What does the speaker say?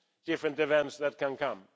different events that can come.